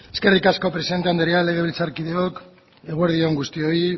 eskerrik asko presidente andrea legebiltzarkideok eguerdi on guztioi